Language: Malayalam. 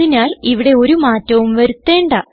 അതിനാൽ ഇവിടെ ഒരു മാറ്റവും വരുത്തേണ്ട